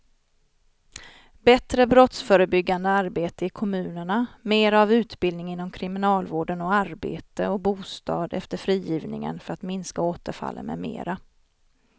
Bättre brottsförebyggande arbete i kommunerna, mera av utbildning inom kriminalvården och arbete och bostad efter frigivningen för att minska återfallen med mera.